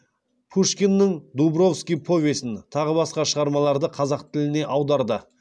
пушкиннің дубровский повесін тағы басқа шығармаларды қазақ тіліне аударды